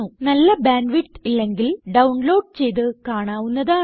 നല്ല bandwidth ഇല്ലെങ്കിൽ download ചെയ്ത് കാണാവുന്നതാണ്